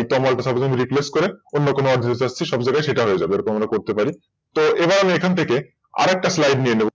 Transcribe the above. এই তমাল টা ধরুন আমি Replace করে অন্য কোন নাম এখানে Replace করতে পারি তো এবার আমি এখান থেকে আরেকটা Slide নিয়ে নেব।